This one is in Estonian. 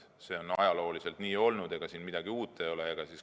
See on ajalooliselt nii olnud, siin midagi uut ei ole.